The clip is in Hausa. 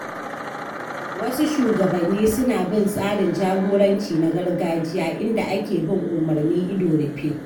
Wasu shugabanni suna bin tsarin jagoranci na gargajiya inda ake bin umarni ido rufe.